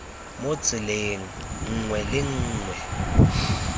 mo tseleng nngwe le nngwe